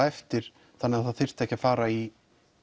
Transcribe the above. eftir þannig að það þyrfti ekki að fara í